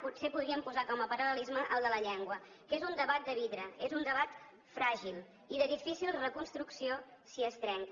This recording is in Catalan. potser podríem posar com a paral·lelisme el de la llengua que és un debat de vidre és un debat fràgil i de difícil reconstrucció si es trenca